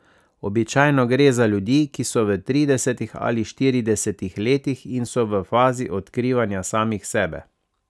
Običajno gre za ljudi, ki so v tridesetih ali štiridesetih letih in so v fazi odkrivanja samih sebe.